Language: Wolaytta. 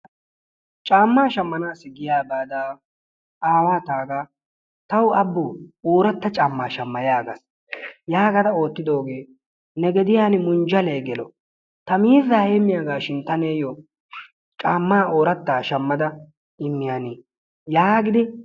Caammaa shaammanayoo giyaa baada tawu abboo oratta caammaa shamma yaagaa. yaagada oottidoogee ne gediyaani munjjalee gelo ta miizzaa heemmiyaagashin ta niyoo caammaa orattaa shaammada immiyaani yaagidi